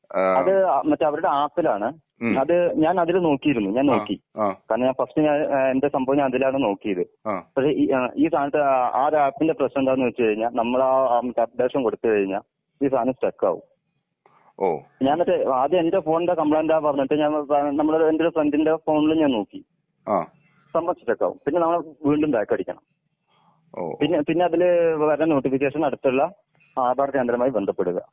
അത് മറ്റേ അവരുടെ ആപ്പിലാണ്. അതെ ഞാൻ അതിൽ നോക്കിയിരുന്നു ഞാൻ നോക്കി. കാരണം ഞാൻ ഫസ്റ്റ് ഞാൻ എന്താ സംഭവം ഞാൻ അതിലാണ് നോക്കിയത്. പക്ഷെ ഈ ആ ഈ സാനത്തിന്റെ ആ ആപ്പിന്റെ പ്രശ്നം എന്താന്ന് വെച്ചുകഴിഞ്ഞാൽ നമ്മള് ആ അപ്ഡേഷൻ കൊടുത്തുകഴിഞ്ഞ ഈ സാനം സ്റ്റക്ക് ആവും. ഞാൻ എന്നിട്ട് ആദ്യം എന്റെ ഫോണിന്റെ കമ്പ്ലൈന്റ് ആന്ന് പറഞ്ഞിട്ട് ഞാൻ പോ വേനമ്മളൊരു ഫ്രണ്ട്ന്റെ ഫോണിൽ ഞാൻ നോക്കി. സംഭവം സ്റ്റക്ക് ആവും പിന്നെ നമ്മൾ വീണ്ടും ബാക്ക് അടിക്കണം. പിന്നെ പിന്നെ അതില് വരുന്ന നോട്ടിഫിക്കേഷൻ അടുത്തുള്ള ആധാർ കേന്ദ്രവുമായി ബന്ധപ്പെടുക.